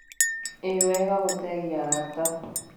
ĩwega gũteithia arata